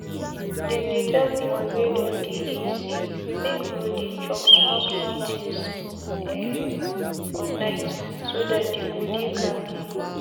them they tell people wey don dey agesay make no dey chop small small things um for nightso that dey go dey kampe.